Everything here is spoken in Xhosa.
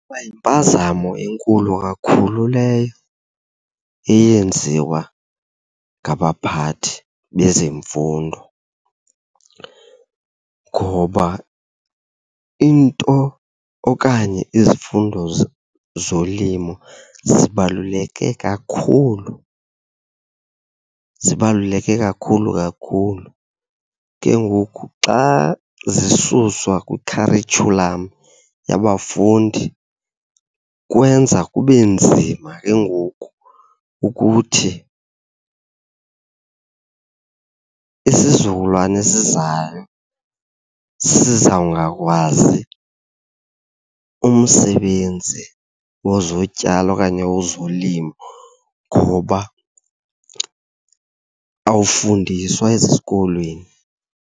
Ikwayimpazamo enkulu kakhulu leyo eyenziwa ngabaphathi bezemfundo, ngoba into okanye izifundo zolimo zibaluleke kakhulu, zibaluleke kakhulu kakhulu. Ke ngoku xa zisuswa kwikharityhulam yabafundi kwenza kube nzima ke ngoku ukuthi, isizukulwane esizayo sizawungakwazi umsebenzi wezotyalo okanye wezolimo ngoba awufundiswa ezikolweni.